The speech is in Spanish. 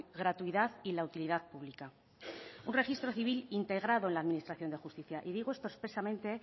gratuidad y la utilidad pública un registro civil integrado en la administración de justicia y digo esto expresamente